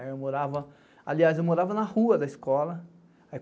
Aliás, eu morava na rua da escola.